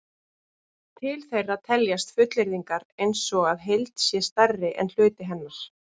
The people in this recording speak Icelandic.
Til þeirra teljast fullyrðingar eins og að heild sé stærri en hluti hennar.